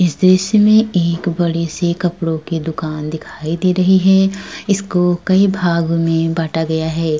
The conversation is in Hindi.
इस दृश्य में एक बड़े से कपड़ों की दुकान दिखाई दे रही है। इसको कई भाग में बांटा गया है।